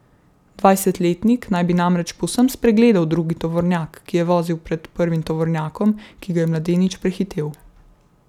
Dvajsetletnik naj bi namreč povsem spregledal drugi tovornjak, ki je vozil pred prvim tovornjakom, ki ga je mladenič prehitel.